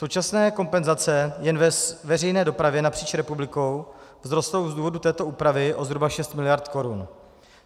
Současné kompenzace jen ve veřejné dopravě napříč republikou vzrostou z důvodu této úpravy o zhruba 6 mld. korun.